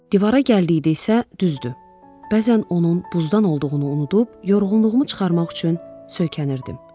Divara gəldikdə isə düzdür, bəzən onun buzdan olduğunu unudub, yorğunluğumu çıxarmaq üçün söykənirdim.